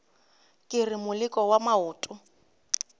ke re moleko wa maoto